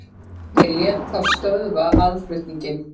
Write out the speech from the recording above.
Lét ég þá stöðva aðflutninginn.